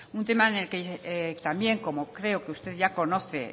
un tema en el que también como creo que usted ya conoce